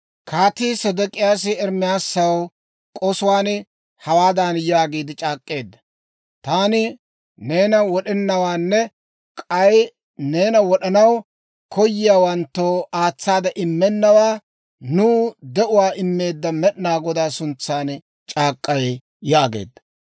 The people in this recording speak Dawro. Kaatii Sedek'iyaasi Ermaasaw k'osuwaan hawaadan yaagiide c'aak'k'eedda; «Taani neena wod'ennawaanne k'ay neena wod'anaw koyiyaawanttoo aatsaade immennawaa nuw de'uwaa immeedda Med'inaa Godaa suntsan c'aak'k'ay» yaageedda.